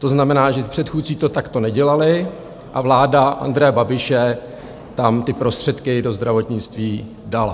To znamená, že předchůdci to takto nedělali, a vláda Andreje Babiše tam ty prostředky do zdravotnictví dala.